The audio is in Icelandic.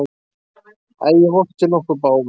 Æ, ég vorkenni okkur báðum.